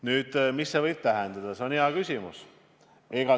Nüüd, mida rahastuse muutmine tähendada võib?